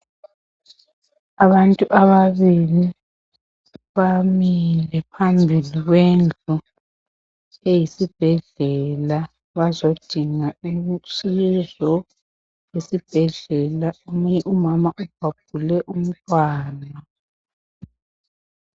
abantu ababili bamile phambili kwendlu eyisibhedlela bazodinga usizo esibhedlela omunye umama ubhabhule umntwana